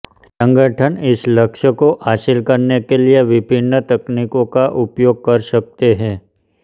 संगठन इस लक्ष्य को हासिल करने के लिए विभिन्न तकनीकों का उपयोग कर सकते हैं